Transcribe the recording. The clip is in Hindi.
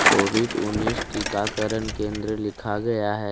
कॉविड उन्नीस टीकाकरण केंद्र लिखा गया है।